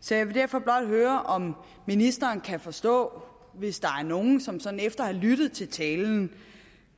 så jeg vil derfor blot høre om ministeren kan forstå hvis der er nogle som sådan efter at have lyttet til talen